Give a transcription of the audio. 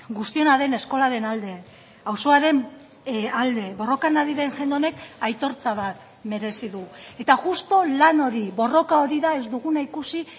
guztiona den eskolaren alde auzoaren alde borrokan ari den jende honek aitortza bat merezi du eta justu lan hori borroka hori da ez duguna ikusi